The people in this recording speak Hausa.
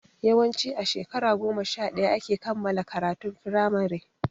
Yawanci a shekara goma sha ɗaya ake kammala karatun firamare